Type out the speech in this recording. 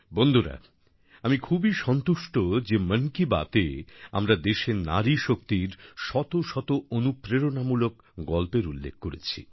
বন্ধুরা আমি খুবই সন্তুষ্ট যে মন কি বাতএ আমরা দেশের নারীশক্তির শত শত অনুপ্রেরণামূলক গল্পের উল্লেখ করেছি